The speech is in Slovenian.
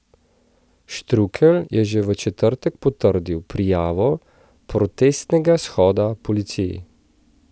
Štrukelj je že v četrtek potrdil prijavo protestnega shoda policiji.